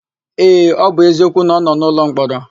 Ee, ọ bụ eziokwu na ọ nọ n'ụlọmkpọrọ.